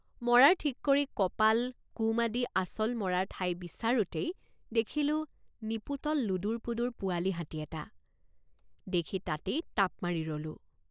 মৰাৰ ঠিক কৰি কপাল কুম আদি আচল মৰাৰ ঠাই বিচাৰোঁতেই দেখিলোঁ নিপোটল লোদোৰ পোদোৰ পোৱালি হাতী এটা দেখি তাতেই তাপ মাৰি ৰলোঁ।